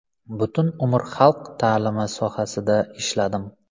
Butun umr xalq ta’limi sohasida ishladim.